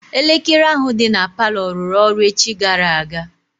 Elekere ahụ dị na palọ rụrụ ọrụ echi gara aga.